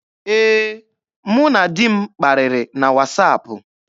Ee, mụ na di m kparịrị na wasaapụ.